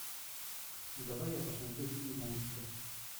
давай я посмотрю фильм монстры